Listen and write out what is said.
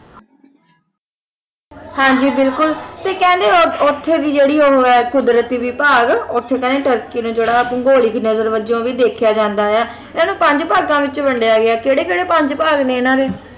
ਹਾਂ ਜੀ ਬਿਲਕੁਲ ਤੇ ਕਹਿੰਦੇ ਉਹ ਉੱਥੇ ਦੀ ਜਿਹੜੀ ਉਹ ਹੈ ਕੁਦਰਤੀ ਵਿਭਾਗ ਉੱਥੇ ਕਹਿੰਦੇ ਤੁਰਕੀ ਨੇ ਜਿਹੜਾ ਭੂਗੋਲਿਕ ਨਗਰ ਵੱਜੋਂ ਵੀ ਦੇਖਿਆ ਜਾਂਦਾ ਹੈ ਇਹਨੂੰ ਪੰਜ ਭਾਗਾਂ ਦੇ ਵਿੱਚ ਵੰਡਿਆ ਗਿਆ ਹੈ ਕਿਹੜੇ ਕਿਹੜੇ ਪੰਜ ਭਾਗ ਨੇ ਇਨ੍ਹਾਂ ਦੇ?